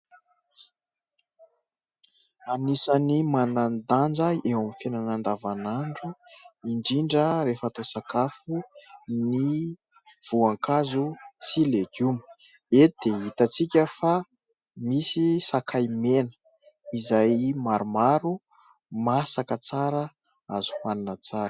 Anisany manandaja eo amin'ny fiainana andavan'andro indrindra rehefa atao sakafo ny voankazo sy legioma. Eto dia hitantsika fa nisy sakay mena izay maromaro masaka tsara azy hoanina tsara.